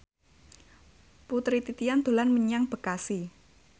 Putri Titian dolan menyang Bekasi